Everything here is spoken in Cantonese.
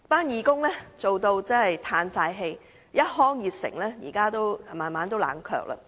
義工亦已心灰意冷，一腔熱誠至今也慢慢冷卻了。